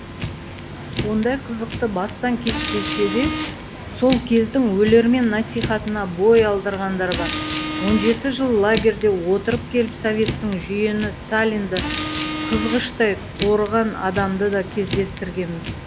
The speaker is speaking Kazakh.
ондай қызықты бастан кешпесе де сол кездің өлермен насихатына бой алдырғандар бар он жеті жыл лагерде отырып келіп советтік жүйені сталинді қызғыштай қорыған адамды да кездестіргенбіз